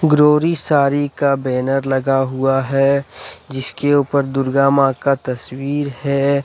ग्रोरी सारी का बैनर लगा हुआ है जिसके ऊपर दुर्गा मां का तस्वीर है।